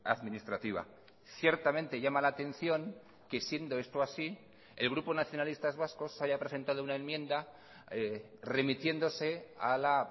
administrativa ciertamente llama la atención que siendo esto así el grupo nacionalistas vascos haya presentado una enmienda remitiéndose a la